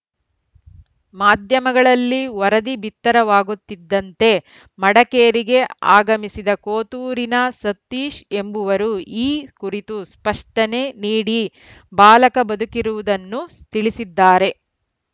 ಮಾಧ್ಯಮಗಳಲ್ಲಿ ವರದಿ ಬಿತ್ತರವಾಗುತ್ತಿದ್ದಂತೆ ಮಡ ಕೇರಿಗೆ ಆಗಮಿಸಿದ ಕೋತೂರಿನ ಸತೀಶ್‌ ಎಂಬವರು ಈ ಕುರಿತು ಸ್ಪಷ್ಟನೆ ನೀಡಿ ಬಾಲಕ ಬದುಕಿರುವುದನ್ನು ತಿಳಿಸಿದ್ದಾರೆ